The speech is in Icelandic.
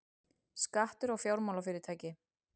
Skattur á fjármálafyrirtæki